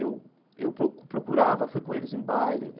Eu eu procu procurava, fui com eles em baile.